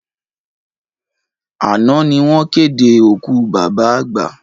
Àná ni wọ́n ké de òkú bàbá àgbà